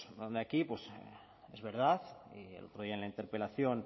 aquí es verdad y el otro día en la interpelación